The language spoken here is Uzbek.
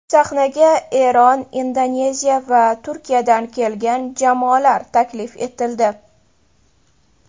Sahnaga Eron, Indoneziya va Turkiyadan kelgan jamoalar taklif etildi.